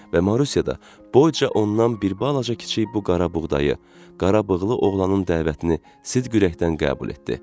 Və Marusya da boyca ondan bir balaca kiçik bu qara buğdayı, qarabığlı oğlanın dəvətini sidq-ürəkdən qəbul etdi.